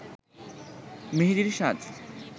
মেহেদির সাজ